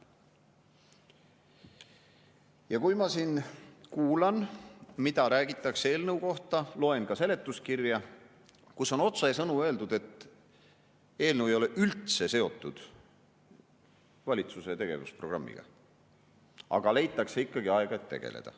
" Ja nüüd ma siin kuulan, mida räägitakse eelnõu kohta, loen ka seletuskirja, kus on otsesõnu öeldud, et eelnõu ei ole üldse seotud valitsuse tegevusprogrammiga, aga leitakse ikkagi aega, et tegeleda.